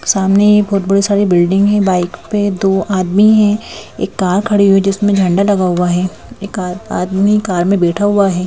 सामने बहुत बड़ी सारी बिल्डिंग है बाइक पे दो आदमी हैं एक कार खड़ी हुई है जिसमें झंडा लगा हुआ है एक कार आदमी कार में बैठा हुआ हैं।